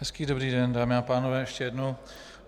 Hezký dobrý den, dámy a pánové, ještě jednou.